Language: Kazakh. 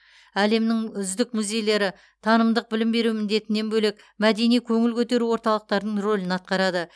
әлемнің үздік музейлері танымдық білім беру міндетінен бөлек мәдени көңіл көтеру орталықтардың рөлін атқарады